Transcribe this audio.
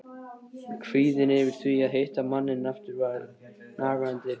Kvíðinn yfir því að hitta manninn aftur var nagandi.